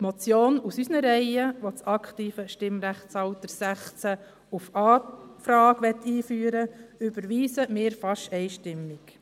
Die Motion aus unseren Reihen , welche das aktive Stimmrechtsalter 16 auf Anfrage einführen möchte, überweisen wir fast einstimmig.